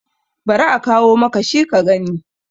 bari a kawo maka shi ka gani!